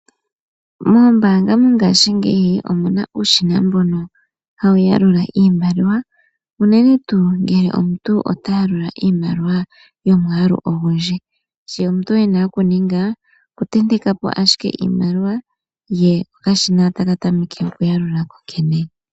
Moombaanga mongashingeyi omuna uushina mbono hawu yalula iimaliwa uunene tu ngele omuntu ota yalula iimaliwa yomwaalu ogundji, sho omuntu ena okuninga okutenteka po ashike iimaliwa ko okashina takatameke okuyalula kokene.